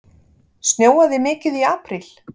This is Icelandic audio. Snjóaði mikið í apríl?